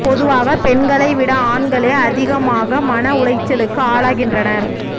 பொதுவாக பெண்களை விட ஆண்களே அதிகமாக மன உளைச்சலுக்கு ஆளாகின்றனர்